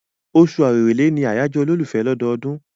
Oṣù Èrèlé ni àyájọ́ olólùfẹ́ lọ́dọọdún.